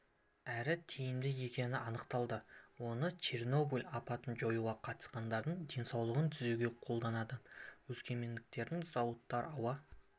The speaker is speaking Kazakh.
әрі тиімді екені анықталды оны чернобыль апатын жоюға қатысқандардың денсаулығын түзеуге қолданады өскемендіктердің зауыттар ауа